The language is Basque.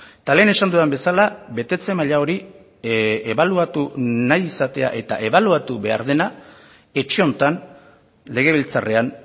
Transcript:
eta lehen esan dudan bezala betetze maila hori ebaluatu nahi izatea eta ebaluatu behar dena etxe honetan legebiltzarrean